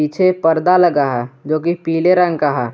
पिछे पर्दा लगा है जो कि पीले रंग का है।